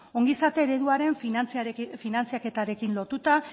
ongizate ereduaren finantzaketarekin lotuta